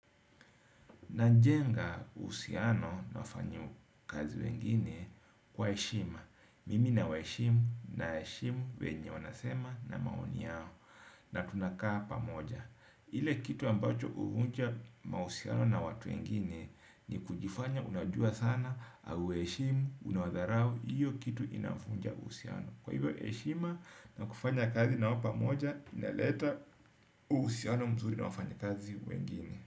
Najenga uhusiano na wafanyakazi wengine kwa heshima. Mimi na wa heshimu na heshimu wenye wanasema na maoni yao na tunakaa pamoja. Ile kitu ambacho huvunja mahusiano na watu wengine ni kujifanya unajua sana hauwa heshimu unawadharau hiyo kitu inavunja uhusiano. Kwa hivyo heshima na kufanya kazi nao pamoja inaleta uhusiano mzuri na wafanyikazi wengine.